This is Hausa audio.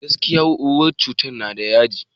Gaskiya, ruwan cittan na da yaji.